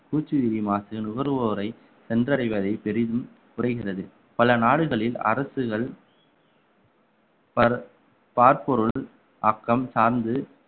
பூச்சியிரிமாசு நுகர்வோரை சென்றடைவதை பெரிதும் குறைகிறது பல நாடுகளில் அரசுகள் பர~ பாற்பொருள் அக்கம் சார்ந்து